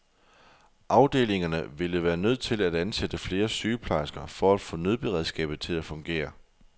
Afdelingerne ville være nødt til at ansætte flere sygeplejersker for at få nødberedskabet til at fungere.